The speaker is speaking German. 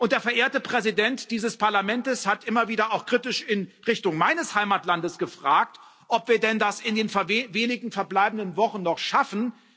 Der verehrte Präsident dieses Parlaments hat immer wieder auch kritisch in Richtung meines Heimatlandes gefragt, ob wir denn das in den wenigen verbleibenden Wochen noch schaffen.